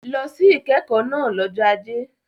Lọ sí ìkẹ́kọ̀ọ́ náà lọ́jọ́ Ajé.